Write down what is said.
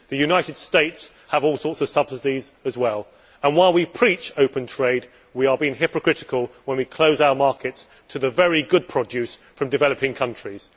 The United States has all sorts of subsidies as well. While we preach open trade, we are being hypocritical when we close our markets to the very good produce from developing countries.